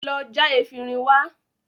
Lọ já efinrin wá!